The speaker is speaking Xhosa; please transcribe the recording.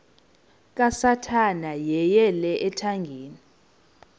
kasathana yeyele ethangeni